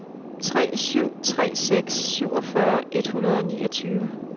tre syv tre seks syvogfyrre et hundrede og niogtyve